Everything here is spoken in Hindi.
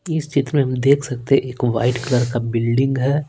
इस क्षेत्र में हम देख सकते हैंएक वाइट कलर का बिल्डिंग है।